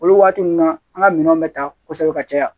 Olu waati ninnu na an ka minɛnw bɛ ta kosɛbɛ ka caya